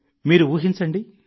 మీరు ఊహించండి